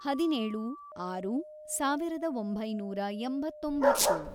ಹದಿನೇಳು, ಆರು, ಸಾವಿರದ ಒಂಬೈನೂರ ಎಂಬತ್ತೊಂಬತ್ತು